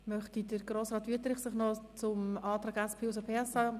Möchte Grossrat Wüthrich sich noch zum Antrag der SP-JUSO-PSA äussern?